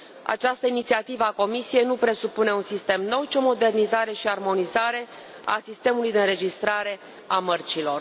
Această inițiativă a Comisiei nu presupune un sistem nou, ci o modernizare și armonizare a sistemului de înregistrare a mărcilor.